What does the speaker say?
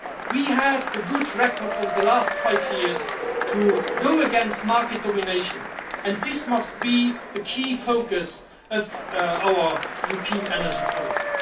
We have a good record over the last five years in going against market domination and this must be a key focus of our European energy policy.